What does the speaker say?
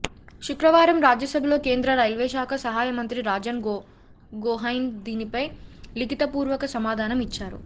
శుక్రవారం రాజ్యసభలో కేంద్ర రైల్వేశాఖ సహాయ మంత్రి రాజన్ గొహైన్ దీనిపై లిఖితపూర్వక సమాధానం ఇచ్చారు